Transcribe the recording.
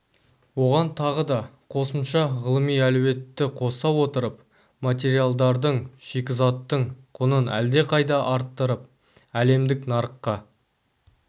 оған тағы да қосымша ғылыми әлеуетті қоса отырып материалдардың шикізаттың құнын әлдеқайда арттырып әлемдік нарыққа